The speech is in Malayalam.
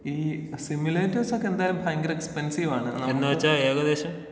ഈ സിമുലേറ്റർസൊക്കെ എന്തായാലും ഭയങ്കര എക്സ്പൻസീവാണ്.